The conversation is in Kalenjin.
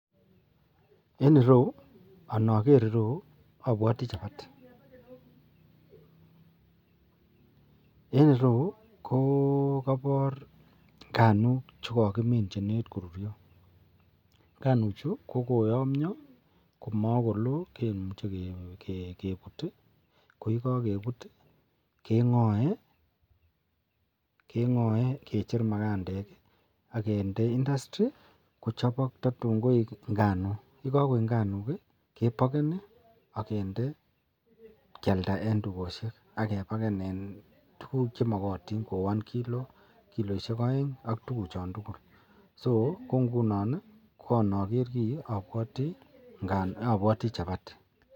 En ireyu anan nager ireyu abwati chapati en ireyu kokabar nganuk chekakimin chenekit korurio ak nganuk Chu kokoyamia komakolo kemuche kebut ak yekakebut kengae kecheru makandek akende industry kochabak tatun koik nganok akbyekakoik nganok kebakeni akende kiyalda en tugoshek agebaken en tuguk chemakatin en kilot agenge, kikoit aeng (so) ak tuguk chan tugul (so) ko ngunon anager ki abwati chapati.